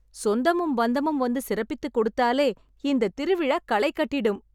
சொந்தமும் பந்தமும் வந்து சிறப்பித்துக் கொடுத்தாலே இந்த திருவிழா களை கட்டிடும்